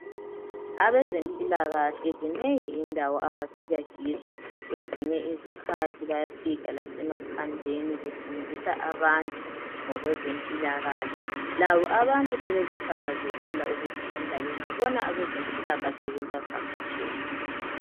Abezempilakahle zinengi indawo abafika kizo kwezinye izikhathi bayafika lasemaphandleni befundisa abantu ngokwezempilakahle. Labo abantu sebekuthakazelela ukufunda bengabona abezempilakahle bebavakatshele.